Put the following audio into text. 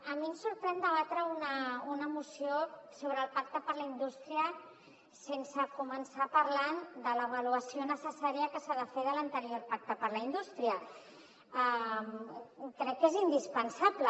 a mi em sorprèn debatre una moció sobre el pacte per a la indústria sense començar parlant de l’avaluació necessària que s’ha de fer de l’anterior pacte per a la indústria crec que és indispensable